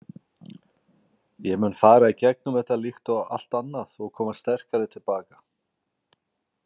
Ég mun fara í gegnum þetta, líkt og allt annað og koma sterkari til baka.